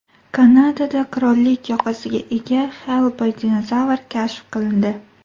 Kanadada qirollik yoqasiga ega Xellboy-dinozavr kashf qilindi.